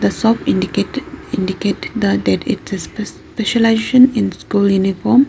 Shop indicate indicate the that it is the specI specialisation in school uniform.